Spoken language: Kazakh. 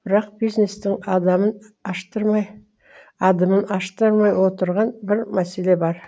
бірақ бизнестің адамын аштырмай адымын аштырмай отырған бір мәселе бар